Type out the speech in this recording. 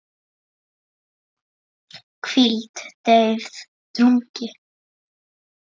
hvíld, deyfð, drungi